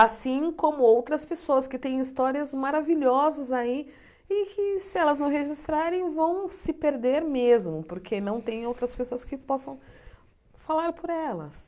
Assim como outras pessoas que têm histórias maravilhosas aí e que se elas não registrarem vão se perder mesmo, porque não tem outras pessoas que possam falar por elas.